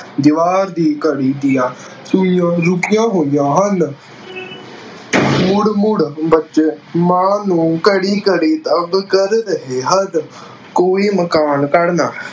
ਦੀਵਾਰ ਦੀ ਘੜੀ ਦੀਆਂ ਸੂਈਆਂ ਰੁਕੀਆਂ ਹੋਈਆਂ ਹਨ। ਮੁੜ-ਮੁੜ ਬੱਚੇ ਮਾਂ ਨੂੰ ਘੜੀ ਘੜੀ ਤੰਗ ਕਰ ਰਹੇ ਹਨ। ਕੋਈ ਮਕਾਨ ਤੜਨਾ-